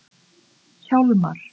Hjálmar